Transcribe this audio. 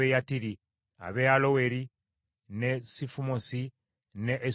ab’e Aloweri, n’e Sifumosi, n’e Esutemoa;